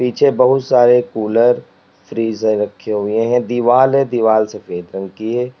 पीछे बहुत सारे कुलर फ्रीज रखे हुए हैं दीवाल है दीवाल सफेद रंग की है।